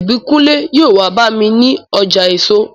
Ìbíkúnlé yóò wá bá mi ní ọjà èso